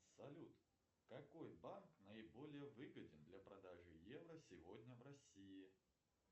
салют какой банк наиболее выгоден для продажи евро сегодня в россии